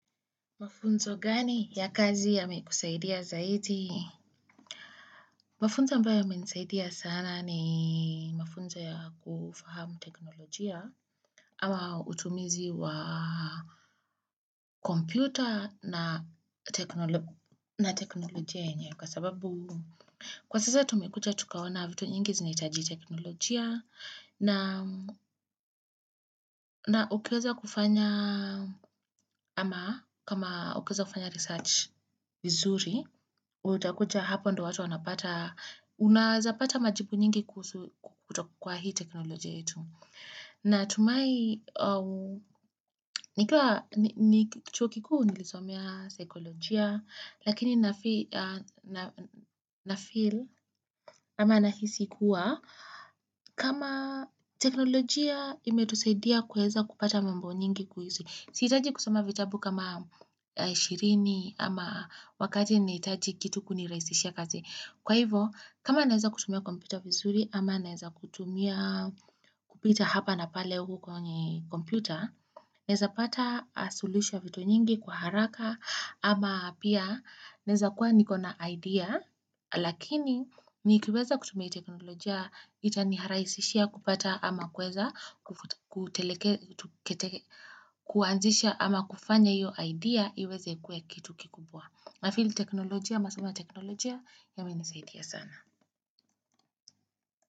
Mafunzo gani ya kazi yame kusaidia zaidi? Mafunzo ambayo yame nisaidia sana ni mafunzo ya kufahamu teknolojia ama utumizi wa kompyuta na teknolojia yenye kwa sababu Kwa sasa tumekuja tukaona vitu nyingi zinahitaji teknolojia na ukiweza kufanya ama kama ukiweza kufanya research vizuri utakuta hapo ndo watu wanapata unawezapata majibu nyingi kutoka kwa hii teknolojia etu. Natumai nikiwa chuo kikuu nilisomea sekolojia, lakini na feel ama nahisi kuwa kama teknolojia imetusadia kuweza kupata mambo nyingi kuhisi. Sitaji kusoma vitabu kama ishirini ama wakati nahitaji kitu kunirahisishia kazi. Kwa hivo, kama naweza kutumia kompyuta vizuri ama naeza kutumia kupita hapa na pale huku kwenye kompyuta naeza pata sulusisho ya vitu nyingi kwa haraka ama pia naeza kuwa nikona idea lakini nikiweza kutumia teknolojia itaniraisishia kupata ama kuweza kuteleke kuanzisha ama kufanya hiyo idea iweze kuwa kitu kikubwa nafeefil teknolojia, ama seems ya teknolojia ya imenisaidia sana.